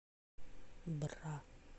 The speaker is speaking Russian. бра